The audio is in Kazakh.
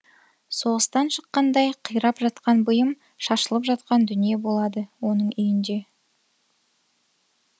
соғыстан шыққандай қирап жатқан бұйым шашылып жатқан дүние болады оның үйінде